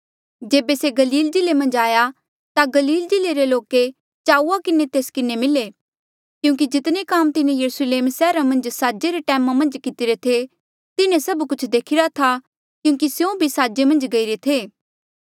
जेबे से गलील जिल्ले मन्झ आया ता गलील जिल्ले रे लोके चाऊआ किन्हें तेस किन्हें मिले क्यूंकि जितने काम तिन्हें यरुस्लेम सैहरा मन्झ साजे रे टैमा मन्झ कितिरे थे तिन्हें सभ कुछ देखिरा था क्यूंकि स्यों भी साजे मन्झ गईरे थे